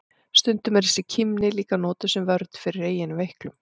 Stundum er þessi kímni líka notuð sem vörn fyrir eigin veiklun.